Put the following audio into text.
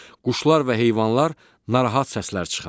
Quşlar və heyvanlar narahat səslər çıxarır.